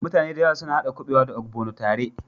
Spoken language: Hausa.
Muta ne da yawa suna hada kubewa da" ogbono" tare.